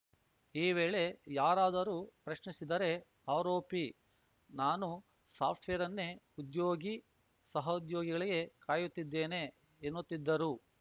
ಈ ವೇಳೆ ಯಾರಾದರೂ ಪ್ರಶ್ನಿಸಿದರೆ ಆರೋಪಿ ನಾನು ಸಾಫ್ಟ್‌ವೇರ್‌ ಅನ್ನೇ ಉದ್ಯೋಗಿ ಸಹೋದ್ಯೋಗಿಗಳಿಗೆ ಕಾಯುತ್ತಿದ್ದೇನೆ ಎನ್ನುತ್ತಿದ್ದರು